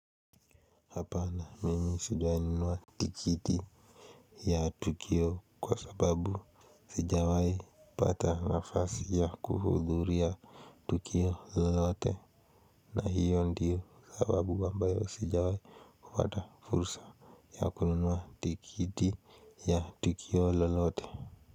Apana mimi sijawai nunua tikiti ya tukio kwa sababu sijawai pata nafasi ya kuhudhuria tukio lolote. Na hiyo ndiyo sababu ambayo sijawai pata fursa ya kununua tikiti ya tukio lolote.